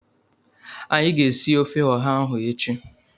Anyị ga-esi ofe ọha ahụ echi